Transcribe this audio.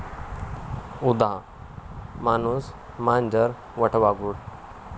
उदा. माणूस, मांजर, वटवाघूळ